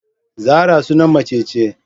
Zarah sunan mace ce